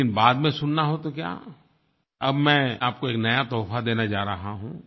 लेकिन बाद में सुनना हो तो क्या अब मैं आपको एक नया तोहफ़ा देने जा रहा हूँ